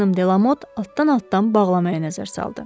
Xanım Delamot altdan-altdan bağlamaya nəzər saldı.